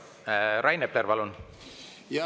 Rain Epler, palun!